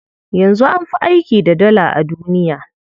Yanzu an fi aiki da Dala a duniya.